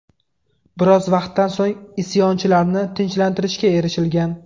Biroz vaqtdan so‘ng isyonchilarni tinchlantirishga erishilgan.